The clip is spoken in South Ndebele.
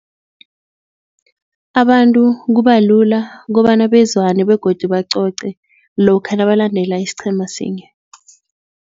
Abantu kubalula kukobana bezwane begodu bacoce lokha nabalandela isiqhema sinye.